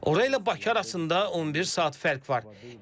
Ora ilə bura arasında 11 saat fərq var.